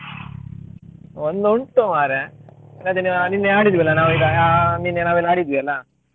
ಒಂದುಂಟು ಮಾರ್ರೆ ಅದ್ ನೀವು ನಿನ್ನೆ ಆಡಿದ್ವಲ್ಲ ನಾವು ಈಗ ಆ ನಿನ್ನೆ ನಾವೆಲ್ಲಾ ಆಡಿದ್ವಿ ಅಲ್ಲಾ.